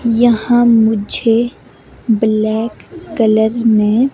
यहाँ मुझे black colour में--